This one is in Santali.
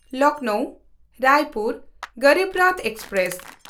ᱞᱚᱠᱷᱱᱚᱣ–ᱨᱟᱭᱯᱩᱨ ᱜᱚᱨᱤᱵ ᱨᱚᱛᱷ ᱮᱠᱥᱯᱨᱮᱥ